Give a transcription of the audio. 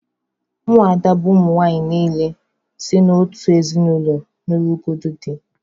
Ụmụ ada bụ ụmụnwanyị niile si n'otu ezinụlọ nugoro dị